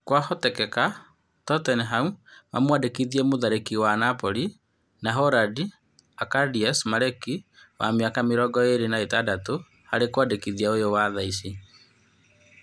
Kwa hotekeka Totenami ma mwandĩkithĩe mũtharĩkĩri wa Nabori na Horandi Akadias Meriki wa mĩaka mĩrongo ĩrĩ na ĩtandatũ harĩ wandĩkithia ũyũ wa thaici.